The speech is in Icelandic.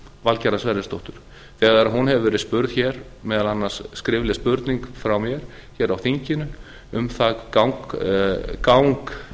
valgerðar sverrisdóttur þegar hún hefur verið spurð meðal annars skrifleg spurning frá mér hér á þinginu um gang